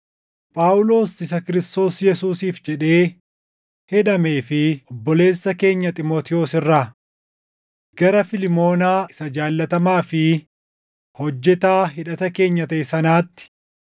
Phaawulos isa Kiristoos Yesuusiif jedhee hidhamee fi obboleessa keenya Xiimotewos irraa, Gara Fiilmoonaa isa jaallatamaa fi hojjetaa hidhata keenya taʼe sanaatti;